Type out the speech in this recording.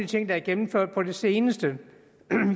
ting der er gennemført på det seneste